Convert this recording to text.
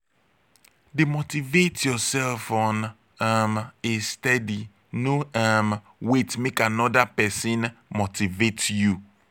de motivate yourself on um a steady no um wait make another persin motivate you